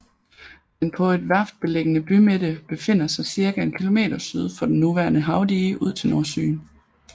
Den på et værft beliggende bymidte befinder sig cirka en kilometer syd for det nuværende havdige ud til Nordsøen